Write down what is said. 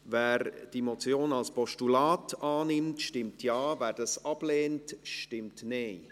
Wer diese Motion als Postulat annimmt, stimmt Ja, wer dies ablehnt, stimmt Nein.